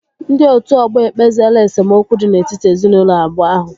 Ndị otu ọgbọ ekpeziela esemokwu dị n'etiti ezinaụlọ abụọ ahụ